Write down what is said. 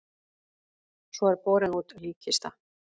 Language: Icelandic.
Svo er borin út líkkista.